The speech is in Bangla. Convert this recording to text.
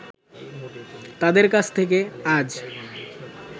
তাদের কাছ থেকে আজ